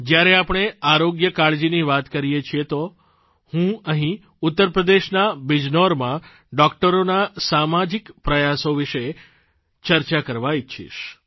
જ્યારે આપણે આરોગ્ય કાળજીની વાત કરીએ છીએ તો હું અહીં ઉત્તરપ્રદેશના બિજનૌરમાં ડોકટરોના સામાજિક પ્રયાસો વિશે પણ ચર્ચા કરવા ઇચ્છીશ